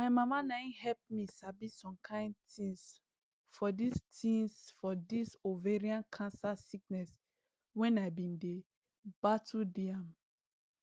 my mama na im help me sabi some kine tins for dis tins for dis ovarian cancer sickness when i bin dey battle di am